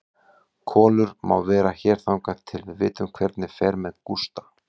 Kolur má vera hér þangað til við vitum hvernig fer með Gústa.